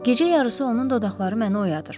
Gecə yarısı onun dodaqları məni oyadır.